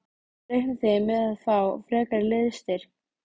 Reiknið þið með að fá frekari liðsstyrk?